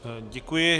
Děkuji.